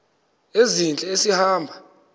ezintle esi hamba